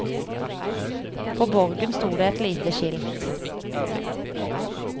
På borgen sto det et lite skilt.